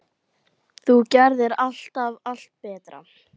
Þú gerðir alltaf allt betra.